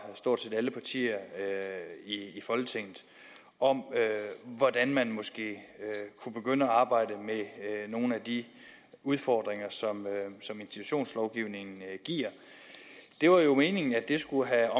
stort set alle partier i folketinget om hvordan man måske kunne begynde at arbejde med nogle af de udfordringer som institutionslovgivningen giver det var jo meningen at det skulle have